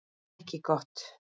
Ekki gott.